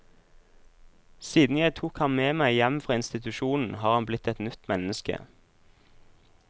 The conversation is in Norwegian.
Siden jeg tok han med meg hjem fra institusjonen, har han blitt et nytt menneske.